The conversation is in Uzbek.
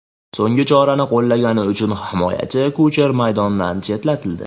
So‘nggi chorani qo‘llagani uchun himoyachi Kucher maydondan chetlatildi.